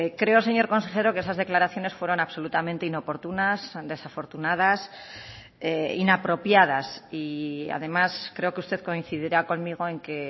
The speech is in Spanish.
creo señor consejero que esas declaraciones fueron absolutamente inoportunas desafortunadas inapropiadas y además creo que usted coincidirá conmigo en que